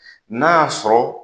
Na'a sɔrɔ.